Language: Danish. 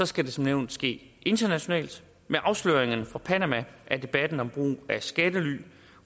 skal det som nævnt ske internationalt med afsløringerne fra panama er debatten om brug af skattely